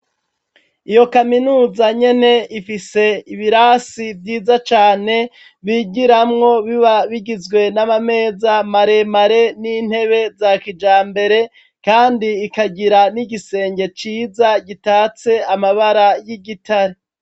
Iyo kaminuza nyene Ifise ibirasi vyiza cane bigiramwo biba bigizwe namameza maremare nintebe za kijambere Kandi ikagira n’ igisenge ciza itatse amabara yigitare.